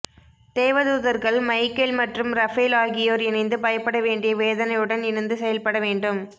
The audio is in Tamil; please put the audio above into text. தேவதூதர்கள் மைக்கேல் மற்றும் ரபேல் ஆகியோர் இணைந்து பயப்பட வேண்டிய வேதனையுடன் இணைந்து செயல்பட வேண்டும்